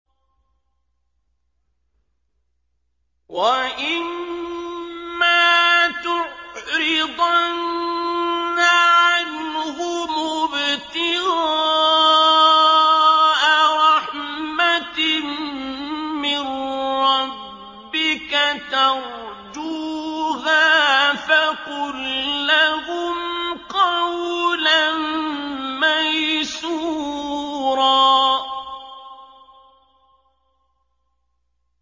وَإِمَّا تُعْرِضَنَّ عَنْهُمُ ابْتِغَاءَ رَحْمَةٍ مِّن رَّبِّكَ تَرْجُوهَا فَقُل لَّهُمْ قَوْلًا مَّيْسُورًا